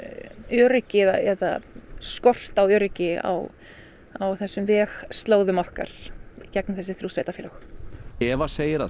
öryggi eða skort á öryggi á þessum vegslóðum okkar í gegnum þessi þrjú sveitarfélög Eva segir að